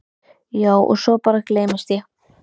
Já og svo bara gleymist ég.